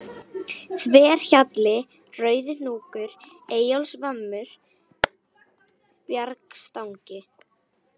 Þverhjalli, Rauðihnúkur, Eyjólfsvammur, Bjargstangi